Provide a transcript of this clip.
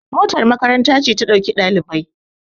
motar makaranta ce ta ɗauki ɗalibai